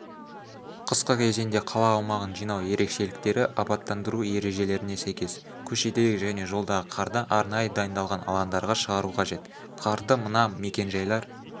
қысқы кезеңде қала аумағын жинау ерекшеліктері абаттандыру ережелеріне сәйкес көшедегі және жолдағы қарды арнайы дайындалған алаңдарға шығару қажет қарды мына мекенжайлар